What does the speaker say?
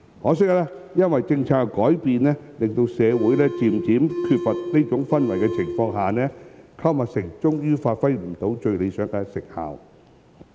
可惜，因政策的改變，令社會逐漸缺乏這種氛圍，購物城最終未能發揮最理想的成效。